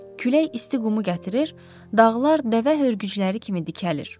Külək isti qumu gətirir, dağlar dəvə hörgücləri kimi dikəlir.